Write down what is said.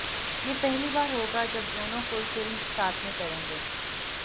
ये पहली बार होगा जब दोनों कोई फिल्म साथ में करेंगे